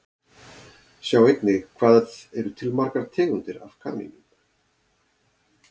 Sjá einnig Hvað eru til margar tegundir af kanínum?